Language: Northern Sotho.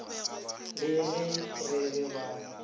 le ge re re ba